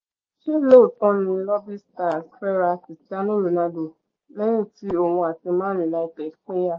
ṣé lóòtọ́ ni lobi stars fẹ́ ra christiano ronaldo lẹ́yìn tí òun àti man united pínyà